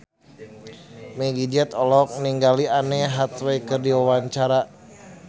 Meggie Z olohok ningali Anne Hathaway keur diwawancara